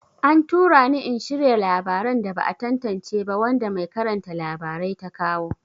An tura ni in shirya labaran da ba a tantance ba wanda mai karanta labarai ta kawo.